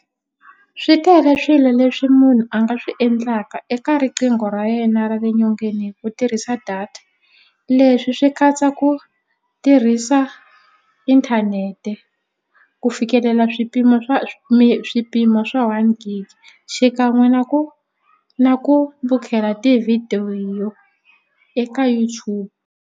Swi tele swilo leswi munhu a nga swi endlaka eka riqingho ra yena ra le nyongeni hi ku tirhisa data leswi swi katsa ku tirhisa internet-e ku fikelela swipimo swa swipimo swa one gig xikan'we na ku na ku vukela tivhidiyo eka YouTube.